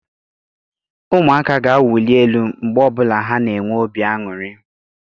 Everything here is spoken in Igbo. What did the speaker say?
Ụmụaka ga-awuli elu mgbe ọ bụla ha na-enwe obi aṅụrị.